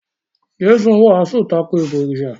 Jésù wàásù tako “ìbọ̀rìsà”.